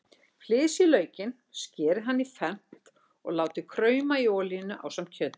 Flysjið laukinn, skerið hann í fernt og látið krauma í olíunni ásamt kjötinu.